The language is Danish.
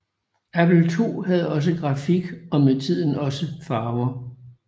Apple II havde også grafik og med tiden også farver